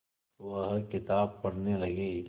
वह किताब पढ़ने लगे